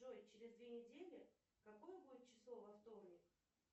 джой через две недели какое будет число во вторник